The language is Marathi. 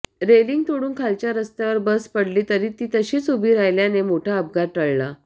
रेलिंग तोडून खालच्या रस्त्यावर बस पडली तरी ती तशीच उभी राहिल्याने मोठा अपघात टळला